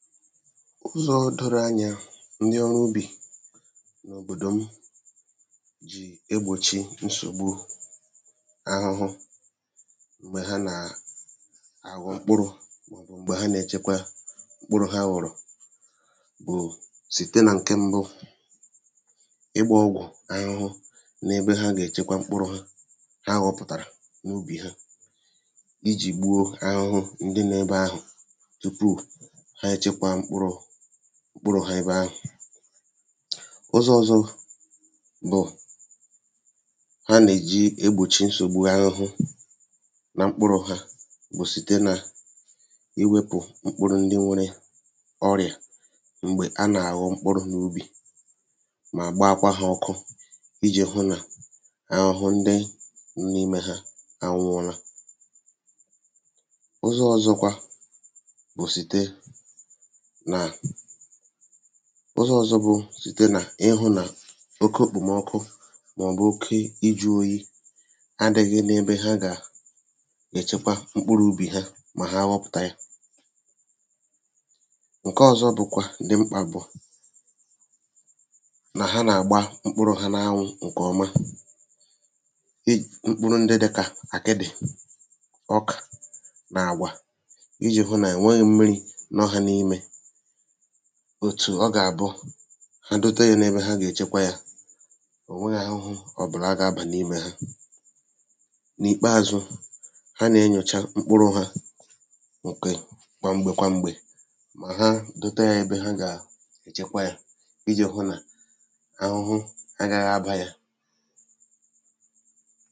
Ụzọ̄ doro anyā ndị ọrụ ubì n’òbòdò m jì egbòchi nsògbu ahụhụ m̀gbè ha nàà àghọ mkpụrụ̄ mọ̀bụ̀ m̀gbè ha nèchekwa mkpụrụ̄ ha ghọ̀rọ̀ bụ̀ site nà ǹke mbụ ịgbā ọgwụ̀ ahụhụ n’ebe ha gècheba mkpụrụ̄ ha ha họ̄pụ̀tàrà n’ubì ha ijì gbuo ahụhụ ndị nọ̄ ebe ahụ̀ tupu ha èchekwa mkpụrụ̄ ebe ahụ̀. Ụzọ̄ ọ̀zọ bụ̀ ha nèji egbòchi nsògbu ahụhụ na mkpụrụ̄ ha bụ̀ site nà iwēpù mkpụrụ ndị nwērē ọṛịà m̀gbè a nàghọ mkpụrụ̄ n’ubì mà kpaakwaa hā ọkụ ijī hụ nà ahụhụ ndị dị n’imē hā ànwụọla Ụzọ̄ ọ̀zọkwa bụ̀ site nà ụzọ̄ ọ̀zọ bụ site nà ihụ̄ nà oko òkpòmọkụ mọ̀bụ̀ oki ijū oyi adị̄ghị̄ nebe ha gàà èchekwa mkpụrụ ubì ha mà ha họpụ̀ta yā, ǹkọọzọ bụ̀kwà dị mkpà bụ̀ nà ha nàgba mkpụrụ̄ ha n’anwụ̄ ǹkọ̀ọma mkpụrụ ndị dịkà àkịdị̀, ọkà nà àgwà ijī hụ nà ènweghī mmirī nọ ha n’imē òtù ọ gàbụ ha dote yā nebe ha nèchekwa yā ò nweghī ahụhụ gabà n’imē hā. N’ìkpaāzụ ha nà enyòcha mkpụrụ hā kwàmgbè kwàmgbè mà ha dote yā ebe ha gà-èchekwa yā, ijī hụ nà ahụhụ agāgha abā yà